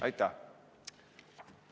Aitäh!